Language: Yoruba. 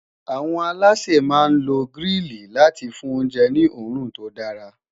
àwọn aláṣẹ má n ló grili láti fún oúnjẹ ní orun tó dara